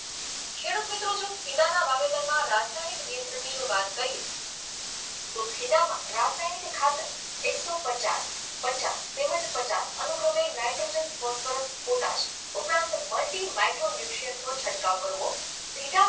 માં રાસાયણિક નિયંત્રણની જો વાત કરીએ તો ભીંડામાં રાસાયણિક ખાતર એકસો પચાસ, પચાસ તેમજ પચાસ અનુક્રમે નાઈટ્રોજન ફોસ્ફરસ પોટાશ ઉપરાંંત muti micro nutrient નો છંટકાવ કરવો બીજા